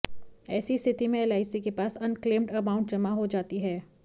ऐसी स्थिति में एलआईसी के पास अनक्लेम्ड अमाउंट जमा हो जाती है